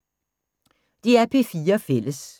DR P4 Fælles